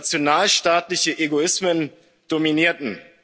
nationalstaatliche Egoismen dominierten.